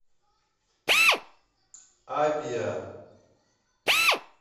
абиа